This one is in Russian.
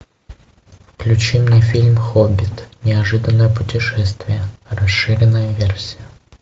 включи мне фильм хоббит неожиданное путешествие расширенная версия